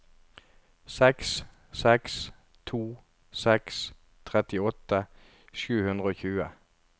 seks seks to seks trettiåtte sju hundre og tjue